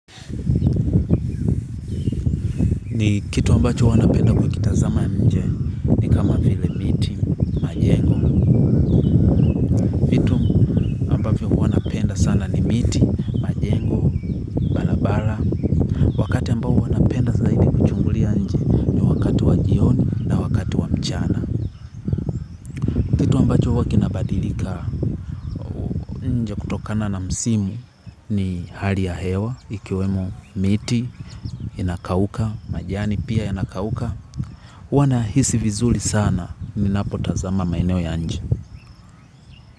Ni kitu ambacho huwa napenda kukikitazama nje, ni kama vile miti, majengo viti ambavyo huwanapenda sana ni miti, majengo, kwa wana pioni. Kwa kinabadilika tokana na msimu ni hali ya hewa, ikiwemo miti, inakauka, majani pia inakauka. Wanahisi vizuli sana ninapo tazama maeneo ya nje.